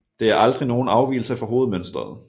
Det er aldrig nogen afvigelse fra hovedmønsteret